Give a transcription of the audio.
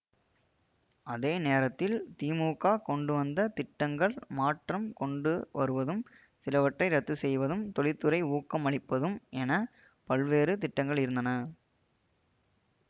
அதே நேரத்தில் திமுக கொண்டுவந்த திட்டங்கள் மாற்றம் கொண்டு வருவதும் சிலவற்றை ரத்து செய்வதும் தொழில்துறை ஊக்கம் அளிப்பதும் என பல்வேறு திட்டங்கள் இருந்தன